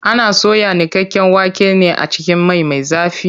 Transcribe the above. Ana soya niƙaƙƙen waken ne a cikin mai me zafi.